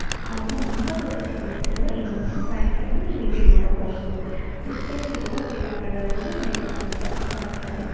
ಹಾಗು ಮುಂಬಾಗದಲ್ಲಿ ನಿಲಿಸಿರುವ ಇನ್ನೊಂದು ಬೈಕ್ ಅನ್ನು ನೀವಿಲ್ಲಿ ನೋಡಬಹುದು ಸುತ್ತಲೂ ಇರುವ ಗಿಡ ಮರಗಳು ನಿಮಗಿಲ್ಲಿ ಕಾಣುತ್ತ ಕಾಣುತ್ತವೆ.